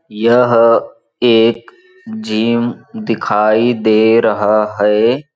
यह एक जिम दिखाई दे रहा हैं।